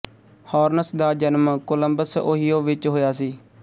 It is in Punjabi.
ਹਾਰਨਸ ਦਾ ਜਨਮ ਕੋਲੰਬਸ ਓਹਿਉ ਵਿੱਚ ਹੋਇਆ ਸੀ